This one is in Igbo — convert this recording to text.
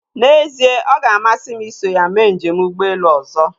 N'ezie ọga amasị m iso ya mee njem ụgbọelu ọzọ.